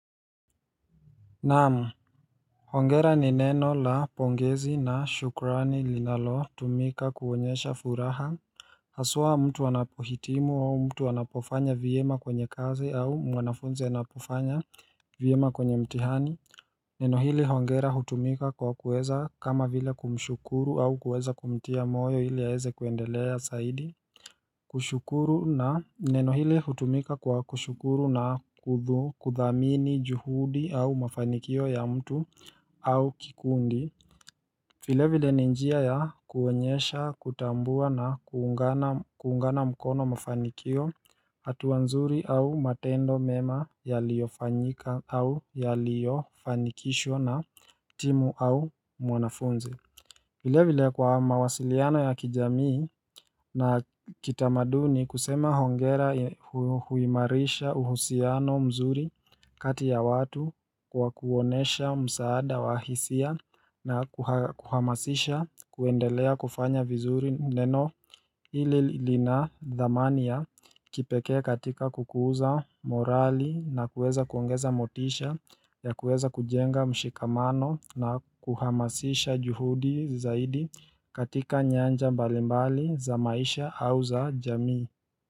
Naam, hongera ni neno la pongezi na shukrani linalotumika kuonyesha furaha Haswa mtu anapohitimu au mtu anapofanya vyema kwenye kazi au mwanafunzi anapofanya vyema kwenye mtihani Neno hili hongera hutumika kwa kuweza kama vile kumshukuru au kuweza kumtia moyo ili aeze kuendelea saidi. Kushukuru na neno hili hutumika kwa kushukuru na kudhu kudhamini juhudi au mafanikio ya mtu au kikundi. Vile vile ni njia ya kuonyesha kutambua na kuungana kuungana mkono mafanikio hatua nzuri au matendo mema yaliyofanyika au yaliyofanikishwa na timu au mwanafunzi vile vile kwa mawasiliano ya kijamii na kitamaduni kusema hongera huimarisha uhusiano mzuri kati ya watu kwa kuonesha msaada wa hisia na kuhamasisha kuendelea kufanya vizuri neno ile lina dhamani ya kipekee katika kukuza morali na kuweza kuongeza motisha ya kuweza kujenga mshikamano na kuhamasisha juhudi zaidi katika nyanja mbalimbali za maisha au za jamii.